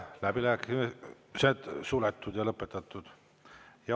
Läbirääkimised on lõpetatud.